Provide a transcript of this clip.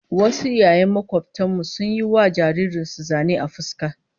Wasu iyaye makobtan mu sun yi wa jaririn su zane a fuska